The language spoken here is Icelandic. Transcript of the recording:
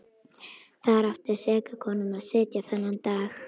Þar átti seka konan að sitja þennan dag.